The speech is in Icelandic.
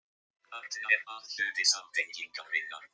Þarna er að hluti samtengingarinnar.